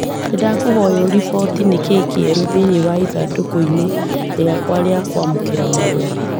Nĩndakũhoya uriboti nĩkĩĩ kĩerũ thĩinĩ wa ithandūkū inī rīakwa rĩa kwamūkīra marua